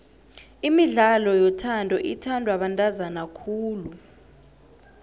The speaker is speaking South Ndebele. imidlalo yothando ithandwa bantazana khulu